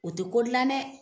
O tɛ ko dilan dɛ!